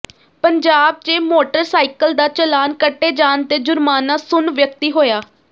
ਪੰਜਾਬ ਚ ਮੋਟਰਸਾਈਕਲ ਦਾ ਚਲਾਨ ਕੱਟੇ ਜਾਣ ਤੇ ਜ਼ੁਰਮਾਨਾ ਸੁਣ ਵਿਅਕਤੀ ਹੋਇਆ